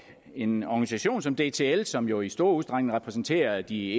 en organisation som dtl som jo i stor udstrækning repræsenterer de